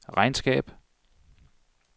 regnskab